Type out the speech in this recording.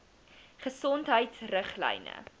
gesondheidriglyne